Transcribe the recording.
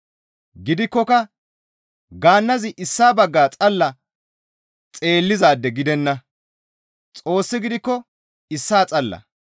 Gidikkoka gaannazi issaa bagga xalla xeellizaade gidenna; Xoossi gidikko issaa xalla.